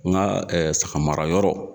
N ga ɛɛ sagamarayɔrɔ